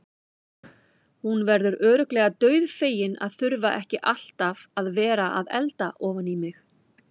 Hún verður örugglega dauðfegin að þurfa ekki alltaf að vera að elda ofan í mig.